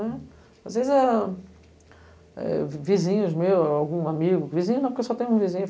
né. Às vezes, ah eh, vi vizinhos meus, algum amigo... Vizinho não, porque só tem um vizinho.